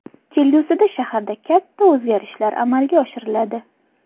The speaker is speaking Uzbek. Kelgusida shaharda katta o‘zgarishlar amalga oshiriladi.